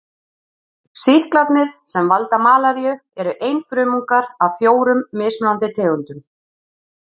Sýklarnir sem valda malaríu eru einfrumungar af fjórum mismunandi tegundum.